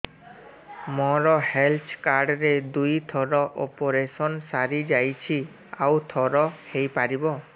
ମୋର health card ରେ ଦୁଇ ଥର ଅପେରସନ ସାରି ଯାଇଛି ଆଉ ଥର ହେଇପାରିବ